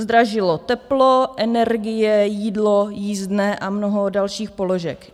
Zdražilo teplo, energie, jídlo, jízdné a mnoho dalších položek.